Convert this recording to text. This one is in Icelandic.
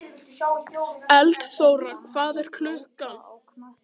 Eldþóra, hvað er klukkan?